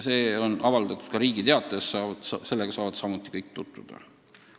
See on avaldatud ka Riigi Teatajas, sellega saavad kõik tutvuda.